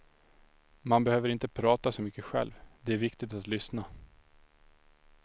Man behöver inte prata så mycket själv, det är viktigt att lyssna.